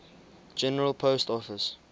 general post office